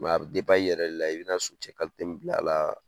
i yɛrɛ de la i bina socɛ min bila a la.